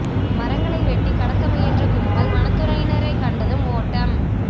மரங்களை வெட்டிக் கடத்த முயன்ற கும்பல் வனத் துறையினரைக் கண்டதும் ஓட்டம்